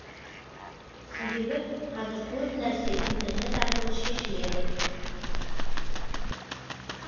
себебі қазір көп нәрсе интернет арқылы шешіледі